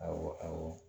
Awɔ awɔ